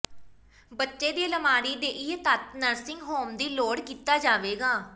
ਬੱਚੇ ਦੀ ਅਲਮਾਰੀ ਦੇ ਇਹ ਤੱਤ ਨਰਸਿੰਗ ਹੋਮ ਦੀ ਲੋੜ ਕੀਤਾ ਜਾਵੇਗਾ